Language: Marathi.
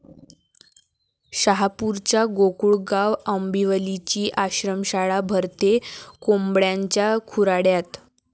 शहापूरच्या गोकुळगाव आंबिवलीची आश्रमशाळा भरते कोंबड्यांच्या खुराड्यात